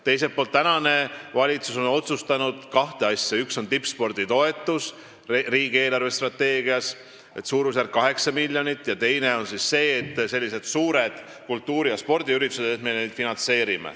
Teiselt poolt on praegune valitsus otsustanud kaks asja: üks on tippspordi toetus riigi eelarvestrateegias suurusjärgus 8 miljonit ja teine on otsus finantseerida suuri kultuuri- ja spordiüritusi.